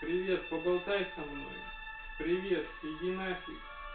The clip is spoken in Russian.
привет поболтай со мной привет иди нафиг